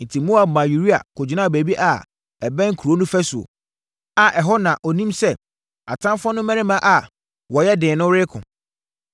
Enti, Yoab maa Uria kɔgyinaa baabi a ɛbɛn kuro no fasuo, a ɛhɔ na ɔnim sɛ atamfoɔ no mmarima a wɔyɛ den no reko.